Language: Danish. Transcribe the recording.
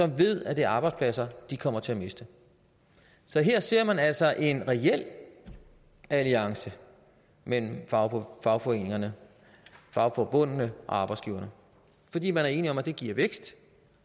ved at det er arbejdspladser de kommer til at miste så her ser man altså en reel alliance mellem fagforbundene fagforbundene og arbejdsgiverne fordi man er enige om at det giver vækst